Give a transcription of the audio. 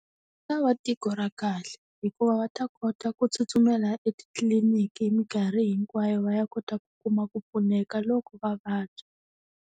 Ku ta va tiko ra kahle, hikuva va ta kota ku tsutsumela etitliliniki hi minkarhi hinkwayo va ya kota ku kuma ku pfuneka loko va vabya.